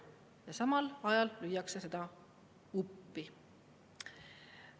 Ja samal ajal lüüakse seda uppi.